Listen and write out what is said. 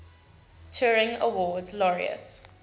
turing award laureates